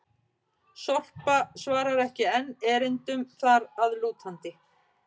Sorpa svarar ekki enn erindum þar að lútandi!